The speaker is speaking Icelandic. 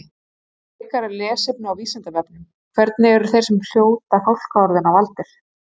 Frekara lesefni á Vísindavefnum: Hvernig eru þeir sem hljóta fálkaorðuna valdir?